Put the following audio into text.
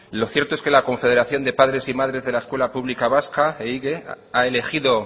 lo cierto es que la confederación de padres y madres de la escuela pública vasca ehige ha elegido